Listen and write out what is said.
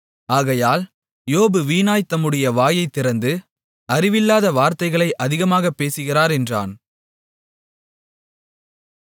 ஆகையால் யோபு வீணாய்த் தம்முடைய வாயைத் திறந்து அறிவில்லாத வார்த்தைகளை அதிகமாகப் பேசுகிறார் என்றான்